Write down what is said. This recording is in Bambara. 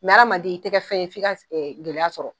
Mɛ adamanden i tɛ kɛ fɛn ye f'i ka s ɛ gɛlɛya sɔrɔ